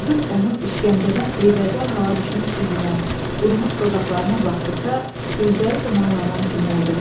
Firidun onun işgəncədən eybəcər hala düşmüş üzünə, qurumuş dodaqlarına baxdıqda gözləri dumanlanan kimi oldu.